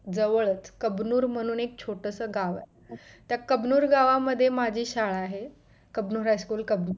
जवळच कबनूर म्हणून एक छोटस गाव आहे त्या कबनूर गावामध्ये माझी शाळा आहे कबनूर high school कबन